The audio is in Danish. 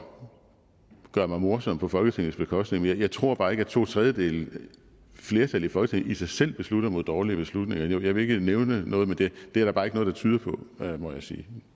gøre mig morsom på folketingets bekostning men jeg tror bare ikke at to tredjedeles flertal i folketinget i sig selv beslutter mod dårlige beslutninger jeg vil ikke nævne noget men det er der bare ikke noget der tyder på må jeg sige